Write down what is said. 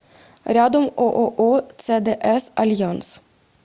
рядом ооо цдс альянс